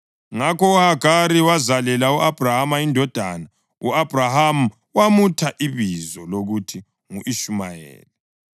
Ngakho uHagari wazalela u-Abhrama indodana, u-Abhrama wamutha ibizo lokuthi ngu-Ishumayeli.